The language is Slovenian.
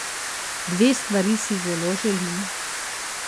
Dve stvari si zelo želim.